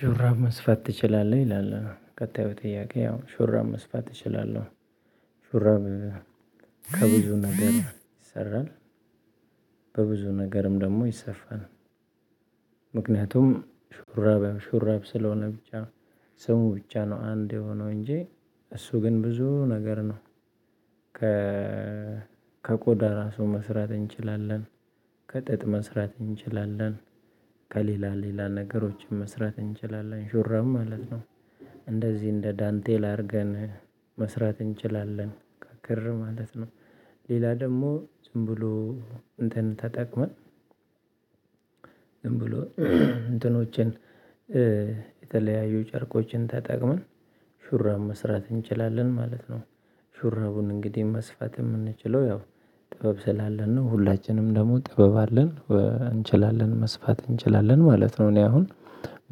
"ሹራብ መስፋት ትችላለህ?" ይላል ቀጣዩ ጥያቄ፣ ያው ሹራብ መስፋት እችላለህ። ሹራብ ከብዙ ነገር ይሰራል፤ በብዙ ነገርም ደግሞ ይሰፋል። ምክንያቱም ሹራብ ሹራብ ስለሆነ ብቻ ስሙ ብቻ ነው አንድ የሆነው እንጂ፤ እሱ ግን ብዙ ነገር ነው። ከ ከቆዳ ራሱ መስራት እንችላለን፣ ከጥጥ መስራት እንችላለን፣ ከሌላ ሌላ ነገሮችን መስራት እንችላለን ሹራብ ማለት ነው። እንደዚህ እንደ ዳንቴል አድርገን መስራት እንችላለን፣ ከክር ማለት ነው። ሌላ ደግሞ ዝምብሎ እንትን ተጠቅመን ዝምብሎ እንትኖችን የተለያዩ ጨርቆችን ተጠቅመን ሹራብ መስራት እንችላለን ማለት ነው። ሹራቡን እንግዲህ መስፋት የምንችለው ያው ጥበብ ስላለን ነው። ሁላችንም ደግሞ ጥበብ አለን እንችላለን መስፋት እንችላለን ማለት ነው። እኔ አሁን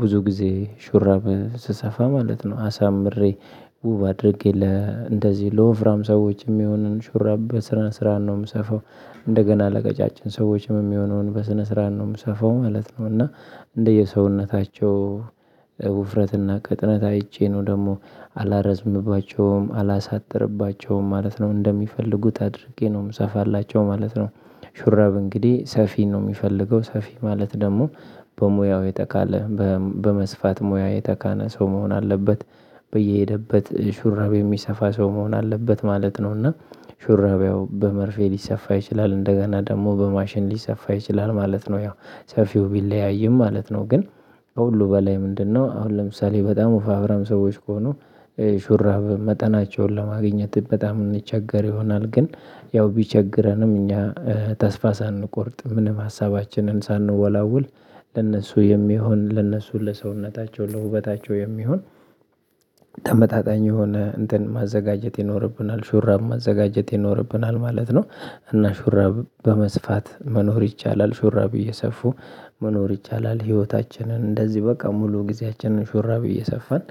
ብዙ ጊዜ ሹራብ ስሰፋ ማለት ነው አሳምሬ ውብ አድርጌ ለእንደዚህ ለወፍራም ሰዎች የሚሆንን ሹራብ በስነ ስርዓት ነው የምሰፋው፤ እንደገና ለቀጫጭን ሰዎችም የሚሆነውን በስነ ስርዓት ነው የምሰፋው ማለት ነው፤ እና እንደየሰውነታቸው ውፍረትና ቅጥነት አይቼ ነው ደግሞ አላረዝምባቸውም፣ አላሳጥርባቸውም ማለት ነው እንደሚፈልጉት አድርጌ ነው የምሰፋላቸው ማለት ነው። ሹረብ እንግዲህ ሰፊ ነው የሚፈልገው ሰፊ ማለት ደግሞ በሙያው የተካነ በመስፋት ሙያ የተካነ ሰው መሆን አለበት በየሄደበት ሹራብ የሚሰፋ ሰው መሆን አለበት ማለት ነው፤ እና ሹራብ ያው በመርፌ ሊሰፋ ይችላል እንደገና ደግሞ በማሽን ሊሰፋ ይችላል ማለት ነው። ያው ሰፊው ቢለያይም ማለት ነው፤ ግን ከሁሉ በላይ ምንድነው አሁን ለምሳሌ በጣም ወፈፍራም ሰዎች ከሆኑ ሹራብ መጠናቸውን ለማግኘት በጣም እንቸገር ይሆናል፤ ግን ያው ቢቸግረንም እኛ ተስፋ ሳንቆርጥ ምንም ሀሳባችንን ሳንወላውል ለእነሱ የሚሆን ለእነሱ ለሰውነታቸው ለውበታቸው የሚሆን ተመጣጣኝ የሆነ እንትን ማዘጋጀት ይኖርብናል ሹራብ ማዘጋጀት ይኖርብናል ማለት ነው፤ እና ሹራብ በመስፋት መኖር ይቻላል ሹራብ እየሰፉ መኖር ይቻላል ህይወታችንን እንደዚህ በቃ ሙሉ ጊዜያችንን ሹራቤ እየሰፋን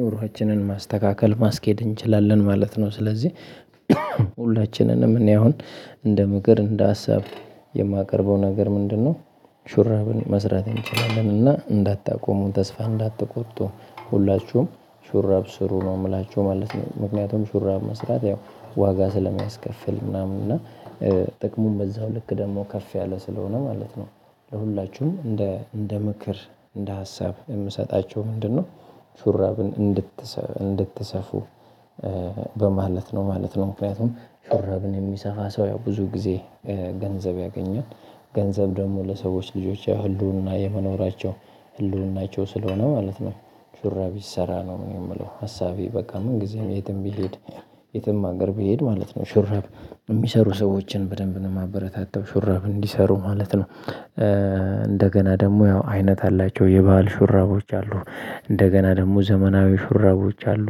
ኑሮአችንን ማስተካከል ማስኬድ እንችላለን ማለት ነው። ስለዚህ ሁላችንንም እኔ አሁን እንደ ምክር እንደ ሀሳብ የማቀርበው ነገር ምንድነው ሹራብን መስራት እንችላለን እና እንዳታቆሙ ተስፋ እንዳትቆጡ፣ ሁላችሁም ሹራብ ስሩ ነው የምላችሁ ማለት ነው። ምክንያቱም ሹራብ መስራት ያው ዋጋ ስለሚያስከፍል ምናምን እና ጥቅሙም በዛው ልክ ደግሞ ከፍ ያለ ስለሆነ ማለት ነው። ለሁላችሁም እንደ እንደ ምክር እንደ ሀሳብ የምሰጣችሁ ምንድነው ሹራብን እንድትሰፉ በማለት ነው ማለት ነው። ምክንያቱም ሹራብን የሚሰፋ ሰው ያው ብዙ ጊዜ ገንዘብ ያገኛል። ገንዘብ ደግሞ ለሰዎች ልጆች የህልውና የመኖራቸው ህልውናቸው ስለሆነ ማለት ነው። ሹራብ ይሰራ ነው የምለው ሀሳቤ በቃ ምን ጊዜም የትም ብሄድ የትም ሀገር ብሄድ ማለት ነው ሹራብ የሚሰሩ ሰዎችን በደንብ ነው የማበረታተው ሹራብ እንዲሰሩ ማለት ነው። እንደገና ደግሞ ያው አይነት አላቸው የባህል ሹራቦች አሉ፣ እንደገና ደግሞ ዘመናዊ ሹራቦች አሉ።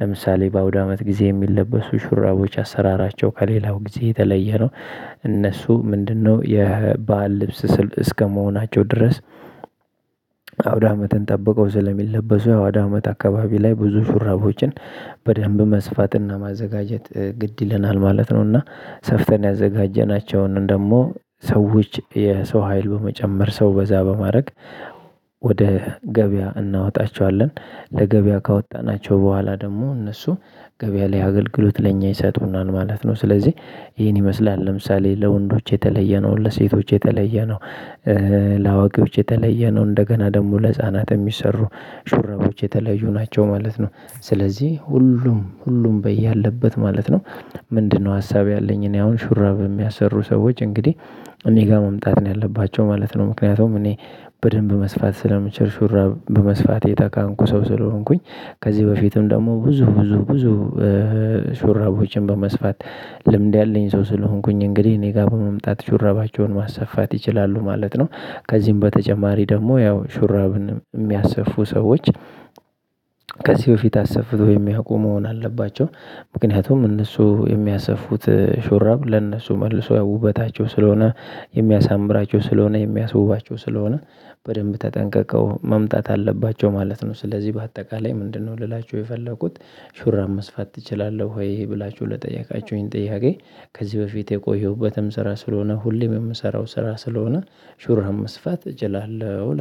ለምሳሌ በአውዳመት ጊዜ የሚለበሱ ሹራቦች አሰራራቸው ከሌላው ጊዜ የተለየ ነው። እነሱ ምንድነው የበአል ልብስ እስከመሆናቸው ድረስ አውዳመትን ጠብቀው ስለሚለበሱ አውዳመት አካባቢ ላይ ብዙ ሹራቦችን በደንብ መስፋትና ማዘጋጀት ግድ ይለናል ማለት ነው፤ እና ሰፍተን ያዘጋጀናቸውን ደግሞ ሰዎች የሰው ሀይል በመጨመር ሰው በዛ በማድረግ ወደ ገበያ እናወጣቸዋለን። ለገበያ ካወጣናቸው በኋላ ደግሞ እነሱ ገበያ ላይ አገልግሎት ለኛ ይሰጡናል ማለት ነው። ስለዚህ ይሄን ይመስላል ለምሳሌ ለወንዶች የተለየ ነው ለሴቶች የተለየ ነው ለአዋቂዎች የተለየ ነው እንደገና ደግሞ ለህፃናት የሚሰሩ ሹራቦች የተለዩ ናቸው ማለት ነው። ስለዚህ ሁሉም ሁሉም በየአለበት ማለት ነው ምንድነው ሀሳብ ያለኝ እኔ አሁን ሹራብ የሚያሰሩ ሰዎች እንግዲህ እኔ ጋር መምጣት ነው ያለባቸው ማለት ነው። ምክንያቱም እኔ በደንብ መስፋት ስለምችል ሹራብ በመስፋት የተካንኩ ሰው ስለሆንኩኝ ከዚህ በፊትም ደግሞ ብዙ ብዙ ብዙ ሹራቦችን በመስፋት ልምድ ያለኝ ሰው ስለሆንኩኝ እንግዲህ እኔ ጋር በመምጣት ሹራባቸውን ማሰፋት ይችላሉ ማለት ነው። ከዚህም በተጨማሪ ደግሞ ያው ሹራብን የሚያስፉ ሰዎች ከዚህ በፊት አሰፍተው የሚያውቁ መሆን አለባቸው። ምክንያቱም እነሱ የሚያሰፉት ሹራብ ለእነሱ መልሰው ውበታቸው ስለሆነ የሚያሳምራቸው ስለሆነ የሚያስውባቸው ስለሆነ በደንብ ተጠንቀቀው መምጣት አለባቸው ማለት ነው። ስለዚህ በአጠቃላይ ምንድነው ልላችሁ የፈለኩት ሹራብ መስፋት ትችላለሁ ወይ ብላችሁ ለጠየቃችሁኝ ጥያቄ ከዚህ በፊት የቆየሁበትም ስራ ስለሆነ ሁሌም የምሰራው ስራ ስለሆነ ሹራብ መስፋት እችላለሁ እላለ